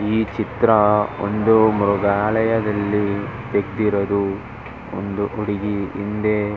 ಈ ಚಿತ್ರ ಒಂದು ಮೃಗಾಲಯದಲ್ಲಿ ಇಟ್ಟಿರೋದು ಒಂದು ಹುಡುಗಿ ಹಿಂದೆ--